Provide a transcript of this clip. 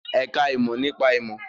Ẹ̀ka ìmọ̀ nípa ìmọ̀